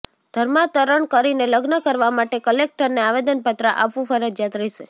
ધર્માંતરણ કરીને લગ્ન કરવા માટે કલેક્ટરને આવેદનપત્ર આપવું ફરજિયાત રહેશે